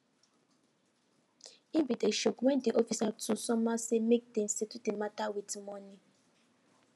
him bin dey shock wen de officer too somehow say mak dem settle de mata with monie